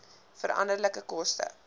veranderlike koste